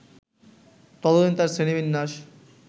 ততদিন তাঁর শ্রেণী-বিন্যাস